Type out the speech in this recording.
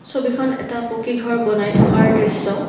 ছবিখন এটা পকী ঘৰ বনাই থকাৰ দৃশ্য।